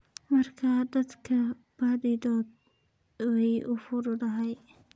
marka dadka badidood way u fududahay.